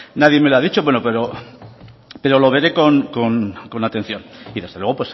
nadie me lo ha dicho bueno pero lo veré con atención y desde luego